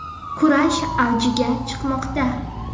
Kurash avjiga chiqmoqda.